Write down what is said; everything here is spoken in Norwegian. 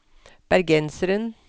bergenseren